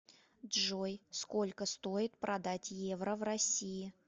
джой сколько стоит продать евро в россии